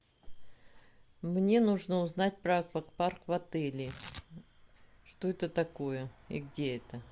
мне нужно узнать про аквапарк в отеле что это такое и где это